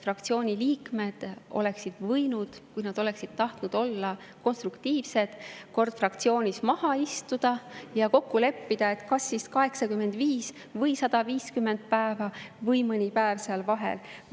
Fraktsiooni liikmed oleksid võinud, kui nad oleksid tahtnud konstruktiivsed olla, korra fraktsioonis maha istuda ja kokku leppida, kas siis 85 või 150 päeva või mõni muu seal vahel.